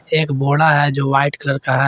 एक बोडा है जो वाइट कलर का है।